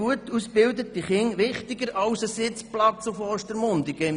Gut ausgebildete Kinder sind mir wichtiger als ein Sitzplatz im Tram nach Ostermundigen.